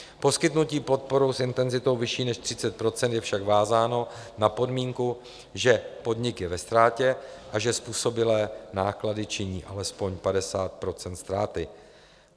Poskytnutí podpory s intenzitou vyšší než 30 % je však vázáno na podmínku, že podnik je ve ztrátě a že způsobilé náklady činí alespoň 50 % ztráty.